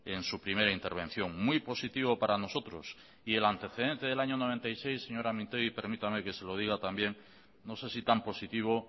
en su primera intervención muy positivo para nosotros y el antecedente del año mil novecientos noventa y seis señora mintegi permítame que se lo diga también no sé si tan positivo